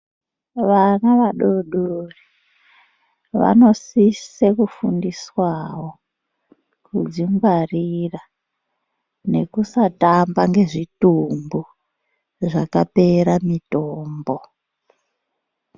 Vana vadodori vanosise kufundiswawo kudzingwarira, nekusatamba nezvitumbu zvakapera mitombo.